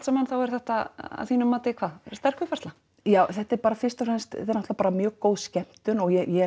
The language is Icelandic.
saman þá er þetta að þínu mati hvað sterk uppfærsla já þetta er fyrst og fremst bara mjög góð skemmtun ég